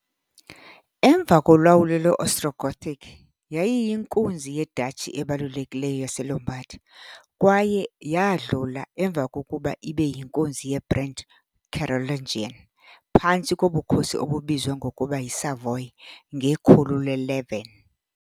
Emva kolawulo lwe -Ostrogothic, yayiyinkunzi ye -duchy ebalulekileyo yaseLombard, kwaye yadlula, emva kokuba ibe yinkunzi ye- brand Carolingian, phantsi kobukhosi obubizwa ngokuba yi- Savoy ngekhulu le-11.